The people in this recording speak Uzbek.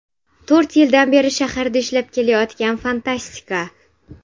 To‘rt yildan beri shaharda ishlab kelayotgan fantastika.